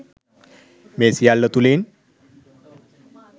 මේ සියල්ල තුළින්